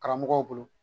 Karamɔgɔw bolo